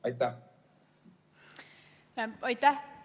Aitäh!